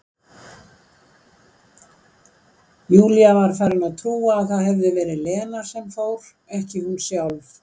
Júlía var farin að trúa að það hefði verið Lena sem fór, ekki hún sjálf.